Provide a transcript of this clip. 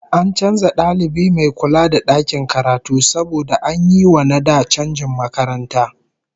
An canza dalibi mai kula da dakin karatu saboda an yi wa na da canjin makaranta